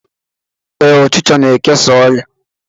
Ee, ọchịcha na-ekesa ọrịa